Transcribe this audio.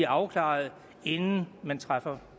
afklaret inden man træffer